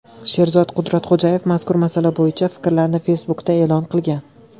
Sherzod Qudratxo‘jayev mazkur masala bo‘yicha fikrlarini Facebook’da e’lon qilgan .